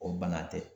O bana tɛ